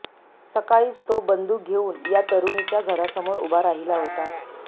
सकाळीच तो बंदूक घेूऊन या तरुणीच्या घरासमोर उभा राहिला होता